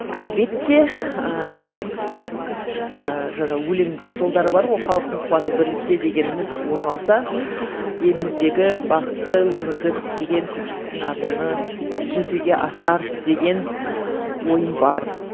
әлбетте ііі жаңа өлең жолдары бар ғой халықтың қуаты бірлікте дегеніміз орын алса еліміздегі бақытты өмірді көксеген көпшіліктің арманы жүзеге асар деген ойым бар